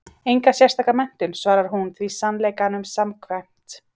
Enga sérstaka menntun, svarar hún því sannleikanum samkvæmt.